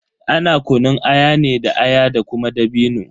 Ana kunun aya ne da aya da kuma dabino.